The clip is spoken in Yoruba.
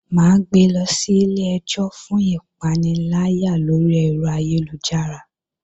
Mà á gbe lọ sí ilé-ẹjọ́ fún ìpaniláyà lórí ẹ̀rọ ayélujára